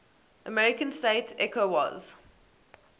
african states ecowas